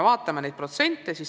Vaatame neid protsente.